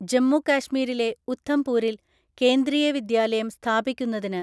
ജമ്മു കാശ്മീരിലെ ഉഥംപൂരില് കേന്ദ്രീയ വിദ്യാലയം സ്ഥാപിക്കുന്നതിന്